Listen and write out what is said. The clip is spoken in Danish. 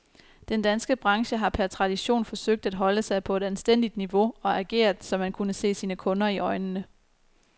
Den danske branche har per tradition forsøgt at holde sig på et anstændigt niveau og ageret, så man kunne se sine kunder i øjnene.